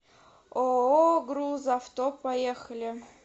ооо грузавто поехали